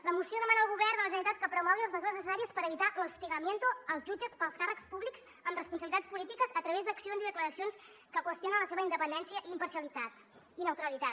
la moció demana al govern de la generalitat que promogui les mesures neces·sàries per evitar l’hostigamiento als jutges pels càrrecs públics amb responsabilitats polítiques a través d’accions i declaracions que qüestionen la seva independència i imparcialitat i neutralitat